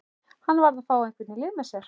Hann varð að fá einhvern í lið með sér.